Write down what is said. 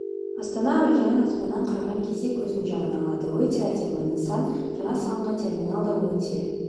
астана әуежайын аспаннан қараған кезде көздің жауын алады өте әдемі нысан жаңа салынған терминал да өте